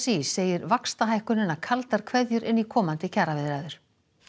í segir vaxtahækkunina kaldar kveðjur inn í komandi kjaraviðræður